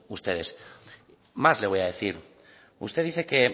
ustedes más le voy a decir usted dice que